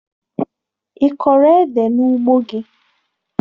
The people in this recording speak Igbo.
Ị kọrọ édè n'ugbo gị?